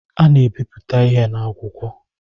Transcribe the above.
A na-ebipụta ihe n’akwụkwọ